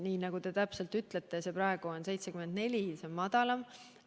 Nii nagu te ütlesite, on see praegu 74%, seega keskmisest madalam.